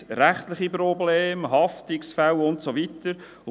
Was, wenn es rechtliche Probleme, Haftungsfälle und so weiter gibt?